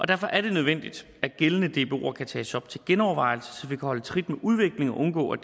derfor er det nødvendigt at gældende dboer kan tages op til genovervejelse så vi kan holde trit med udviklingen og undgå at